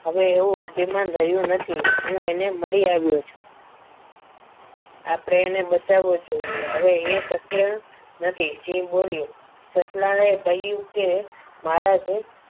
હવે એવું અભિમાન રહ્યું નથી હું એને મળી આવ્યો છું આપણે એને બચાવવું જોઈએ હવે એ શક્ય નથી. સિંહ બોલ્યો સસલાએ કહ્યું કે મારા જેમ